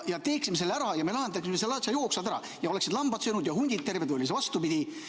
Teeksime selle ära ja me lahendaksime selle asja jooksvalt ära ja oleksid lambad söönud ja hundid terved – või oli see vastupidi?